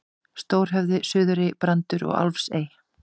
Stórhöfði, Suðurey, Brandur og Álfsey.